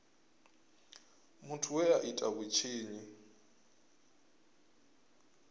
muthu we a ita vhutshinyi